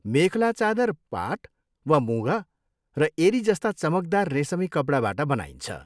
मेखेला चादर पाट वा मुगा र एरी जस्ता चमकदार रेसमी कपडाबाट बनाइन्छ।